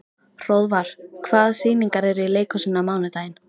Hróðvar, hvaða sýningar eru í leikhúsinu á mánudaginn?